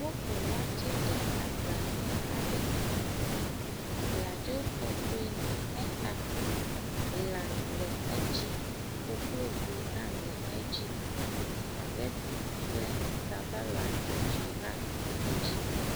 Woku watsɛ ɖe agba ʋi aɖe me. Abladzo tɔtɔe nɔ exa, lã le edzi, koklozi hã le edzi, supageti kple sabala tsotsoe hã nɔ edzi.